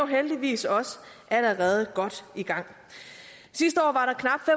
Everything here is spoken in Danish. heldigvis også allerede godt i gang sidste år